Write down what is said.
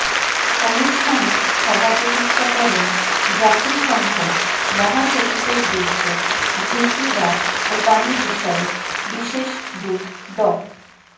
অনুষ্ঠানে সভাপতিত্ব করেন জাতিসংঘ মহাসচিবের দুর্যোগ ঝুঁকি হ্রাসও পানি বিষয়ক বিশেষ দূত ড